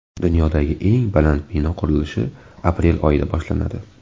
Dunyodagi eng baland bino qurilishi aprel oyida boshlanadi.